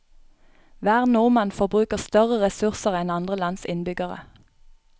Hver nordmann forbruker større ressurser enn andre lands innbyggere.